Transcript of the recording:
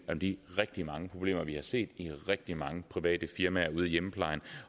om de rigtig mange problemer vi har set i rigtig mange private firmaer ude i hjemmeplejen